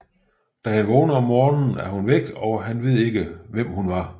Da han vågner om morgenen er hun væk og han ved ikke hvem hun var